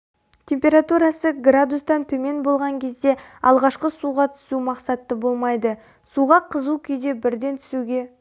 температурасы градустан төмен болған кезде алғашқы суға түсу мақсатты болмайды суға қызу күйде бірден түсуге